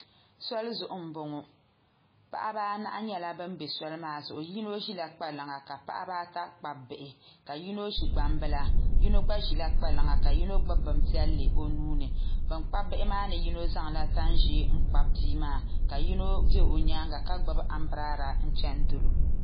Sɔli zuɣu n boŋo paɣaba anahi nyɛla bin ʒi soli maa zuɣu yino ʒila kpalaŋa ka paɣaba ata kpabi bihi ka yino ʒi gbambila yino gba ʒila kpalaŋa ka yino gbubi bin piɛlli o nuuni bin kpabi bihi maa ni yino zaŋla tani ʒiɛ n kpabi bihi maa ka yino bɛ o nyaanga ka gbubi anbirɛla chɛni dolo